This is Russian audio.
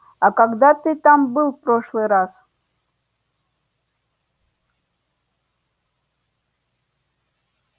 а когда ты там был в прошлый раз